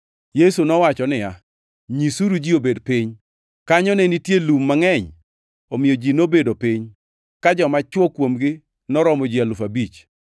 Yesu nowacho niya, “Nyisuru ji obed piny.” Kanyo ne nitie lum mangʼeny, omiyo ji nobedo piny (ka joma chwo kuomgi noromo ji alufu abich).